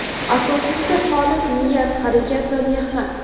Asosiysi xolis niyat, harakat va mehnat.